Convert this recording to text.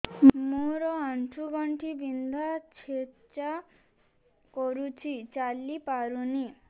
ମୋର ଆଣ୍ଠୁ ଗଣ୍ଠି ବିନ୍ଧା ଛେଚା କରୁଛି ଚାଲି ପାରୁନି